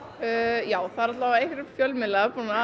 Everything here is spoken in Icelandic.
já það eru allavega einhverjir fjölmiðlar búnir að